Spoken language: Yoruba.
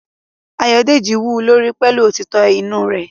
Ayodeji wú u lórí pẹ̀lú òtítọ́ inú rẹ̀